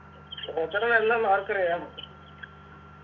ഓച്ചറ നല്ലന്ന് ആർക്കറിയാന്ന്